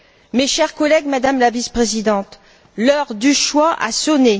Mes chers collègues, Madame la vice présidente, l'heure du choix a sonné.